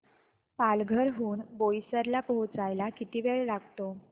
पालघर हून बोईसर ला पोहचायला किती वेळ लागतो